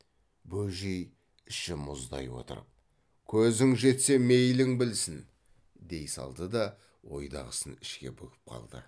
бөжей іші мұздай отырып көзің жетсе мейлің білсін дей салды да ойдағысын ішке бүгіп қалды